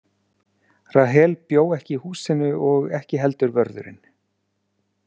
Rahel bjó ekki í húsinu og ekki heldur vörðurinn.